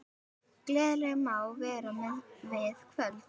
Gleðin má vera við völd.